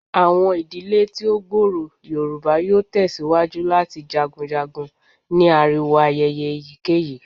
Awọn idile ti o gbooro Yoruba yoo tẹsiwaju lati jagunjagun ni ariwo ayẹyẹ eyikeyi